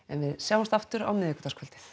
en við sjáumst aftur á miðvikudagskvöldið